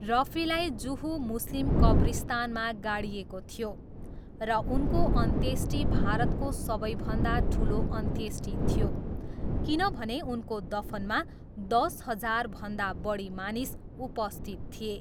रफीलाई जुहु मुस्लिम कब्रिस्तानमा गाडिएको थियो र उनको अन्त्येष्टि भारतको सबैभन्दा ठुलो अन्त्येष्टि थियो किनभने उनको दफनमा दस हजारभन्दा बढी मानिस उपस्थित थिए।